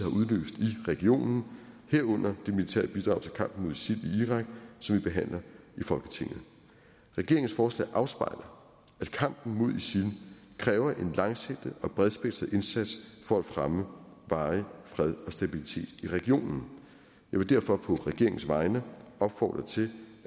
regionen herunder det militære bidrag til kampen mod isil i irak som vi behandler i folketinget regeringens forslag afspejler at kampen mod isil kræver en langsigtet og bredspektret indsats for at fremme varig fred og stabilitet i regionen jeg vil derfor på regeringens vegne opfordre til